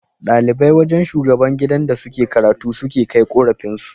Dalibai wajan shugaban gidan da suke karatu suke Kai korafin su